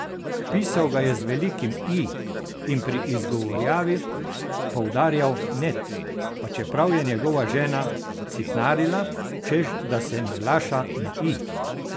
Pisal ga je z velikim I in pri izgovarjavi poudarjal net, pa čeprav je njegova žena sitnarila, češ da se naglaša na i.